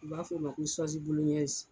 U b'a f'o ma ko